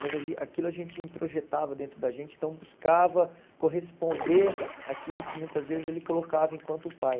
Mas a gen aquilo a gente introjetava dentro da gente, então buscava corresponder àquilo que, muitas vezes, ele colocava enquanto pai.